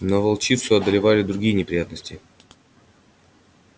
но волчицу одолевали другие неприятности